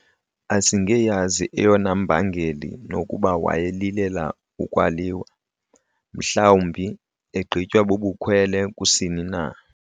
Asingeyazi eyona mbangeli nokuba wayelilela ukwaliwa, mhlawumbi egqitywa bubukhwele kusini na?